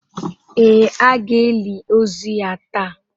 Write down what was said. Ee, a ga-eli ozu ya taa.